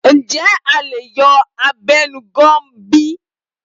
Ǹjẹ́ a lè yọ abẹnugan bi?